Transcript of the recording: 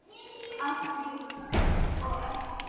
Ásdís og Össur.